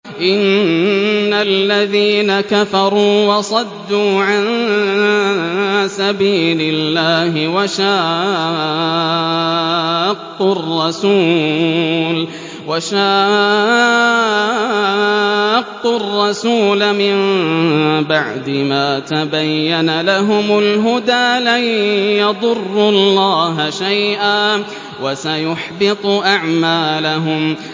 إِنَّ الَّذِينَ كَفَرُوا وَصَدُّوا عَن سَبِيلِ اللَّهِ وَشَاقُّوا الرَّسُولَ مِن بَعْدِ مَا تَبَيَّنَ لَهُمُ الْهُدَىٰ لَن يَضُرُّوا اللَّهَ شَيْئًا وَسَيُحْبِطُ أَعْمَالَهُمْ